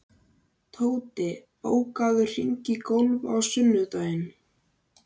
Tóti, bókaðu hring í golf á sunnudaginn.